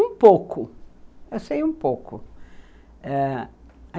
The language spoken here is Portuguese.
Um pouco, eu sei um pouco. Ãh